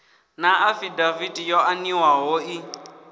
na afidaviti yo aniwaho i